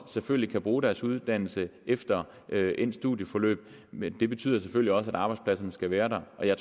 selvfølgelig kan bruge deres uddannelse efter endt studieforløb men det betyder selvfølgelig også at arbejdspladserne skal være der og jeg